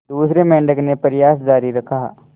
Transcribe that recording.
दूसरे मेंढक ने प्रयास जारी रखा